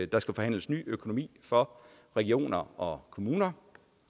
der skal forhandles ny økonomi for regioner og kommuner